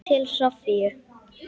Til Soffíu.